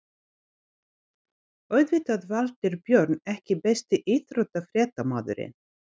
Auðvitað Valtýr Björn EKKI besti íþróttafréttamaðurinn?